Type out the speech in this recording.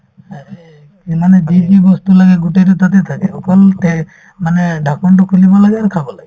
আৰু এই এই মানে যি যি বস্তু লাগে গোটেইতো তাতে থাকে অকল তেহ্ মানে ঢাকনতো খুলিব লাগে আৰু খাব লাগে